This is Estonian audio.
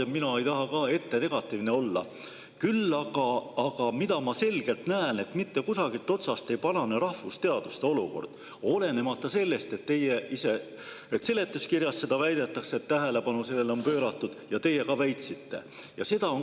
Ja mina ei taha ka ette negatiivne olla, küll aga näen ma selgelt, et mitte kusagilt otsast ei parane rahvusteaduste olukord, olenemata sellest, et seletuskirjas väidetakse, et tähelepanu on sellele pööratud, ja teie ka väitsite seda.